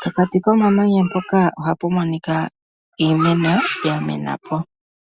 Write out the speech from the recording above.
pokati komamanya ohapu monika iimeno ya menapo